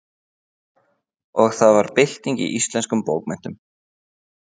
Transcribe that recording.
Og það varð bylting í íslenskum bókmenntum.